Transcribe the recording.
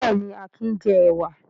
Bẹ́ẹ̀ni, Akin jẹ ẹ̀wà.